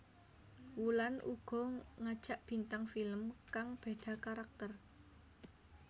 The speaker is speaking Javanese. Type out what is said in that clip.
Wulan uga ngajak bintang film kang beda karakter